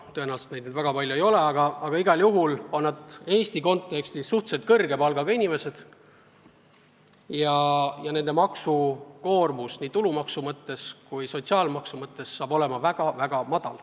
Tõenäoliselt neid väga palju ei ole, aga igal juhul on nad Eesti kontekstis suhteliselt kõrge palgaga inimesed ja nende maksukoormus nii tulumaksu kui sotsiaalmaksu osas saab olema väga väike.